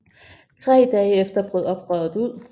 Tre dage efter brød oprøret ud